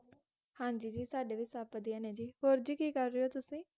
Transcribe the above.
ਹਾਂਜੀ ਜੀ, ਸਾਡੇ ਵੀ ਸਬ ਵਧਿਆ ਨੇ ਜੀ, ਹੋਰ ਜੀ ਕੀ ਕਰ ਰਹੇ ਹੋ ਤੁਸੀਂ?